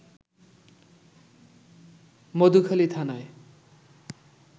মধুখালী থানায়